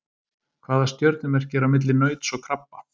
Hvaða stjörnumerki er á milli nauts og krabba?